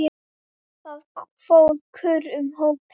Lofaðu mér að byrja aftur!